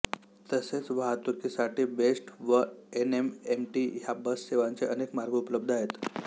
तसेच वाहतूकीसाठी बेस्ट व एन एम एम टी ह्या बस सेवांचे अनेक मार्ग उपलब्ध आहेत